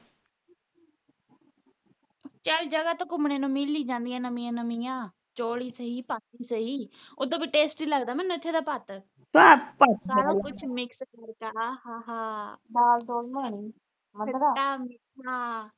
ਚੱਲ ਜਗਾਹ ਤਾਂ ਘੁੰਮਨੇ ਨੂੰ ਮਿਲ ਈ ਜਾਂਦੀਆਂ ਨਵੀਆਂ ਨਵੀਆਂ ਚੋਲ ਈ ਸਹੀ ਈ ਸਹੀ ਉਥੋਂ ਵੀ ਟੇਸਟੀ ਈ ਲੱਗਦਾ ਇਥੋਂ ਦਾ ਭਤਾ ਸਾਰਾ ਕੁਛ ਮਿਕ੍ਸ ਫੁਲਕਾ ਹਾਹਾ ਖਟਾ ਮਿੱਠਾ